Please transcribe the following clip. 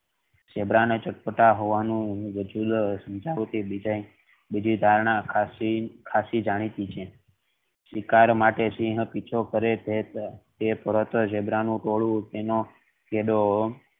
zebra ને ચટપટા હોવાનું બીજી ધારણા ખાંસી જાણીતી છે તેના માટે સિંહ પીછો કરે કે તરત જ ઝીબ્રા નું ટોળું તેનો